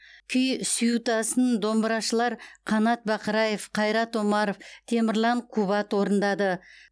күй сюитасын домбырашылар қанат бақраев қайрат омаров темірлан кубат орындады